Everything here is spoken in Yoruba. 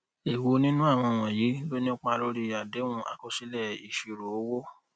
èwo nínú àwọn wọnyí ló nípa lórí àdéhùn akosile isiro owo